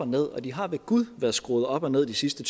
ned og de har ved gud været skruet op og ned de sidste